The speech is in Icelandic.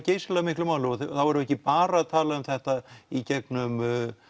geysilega miklu máli og þá erum við ekki bara að tala um þetta í gegnum